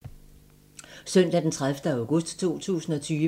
Søndag d. 30. august 2020